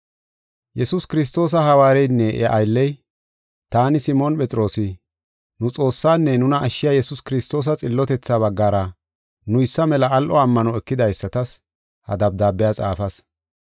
Yesuus Kiristoosa hawaareynne iya aylley, taani, Simooni Phexroosi, nu Xoossaanne nuna ashshiya Yesuus Kiristoosa xillotethaa baggara nuysa mela al7o ammano ekidaysatas ha dabdaabiya xaafas.